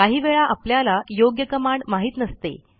काही वेळा आपल्याला योग्य कमांड माहित नसते